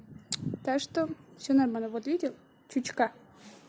так что всё нормально вот видел чучка